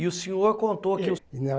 E o senhor contou que o. Eh, não